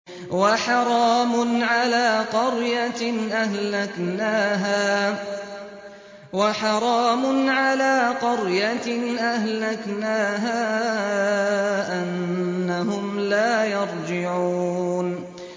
وَحَرَامٌ عَلَىٰ قَرْيَةٍ أَهْلَكْنَاهَا أَنَّهُمْ لَا يَرْجِعُونَ